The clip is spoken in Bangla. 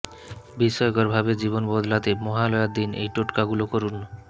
বিস্ময়কর ভাবে জীবন বদলাতে মহালয়ার দিন এই টোটকাগুলো করুন